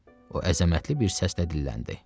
O əzəmətli bir səslə dilləndi.